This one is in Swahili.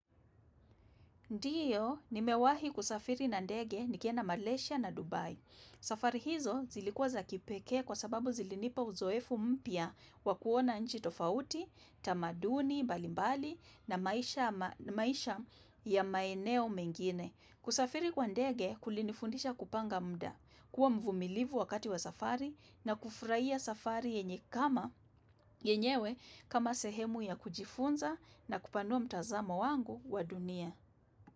Ndiyo, nimewahi kusafiri na ndege nikienda Malaysia na Dubai. Safari hizo zilikua za kipeke kwa sababu zilinipa uzoefu mpia wakuona nchi tofauti, tamaduni, mbalimbali na maisha ya maeneo mengine. Kusafiri kwa ndege kulinifundisha kupanga muda, kuwa mvumilivu wakati wa safari na kufraia safari yenyewe kama sehemu ya kujifunza na kupanua mtazamo wangu wa dunia.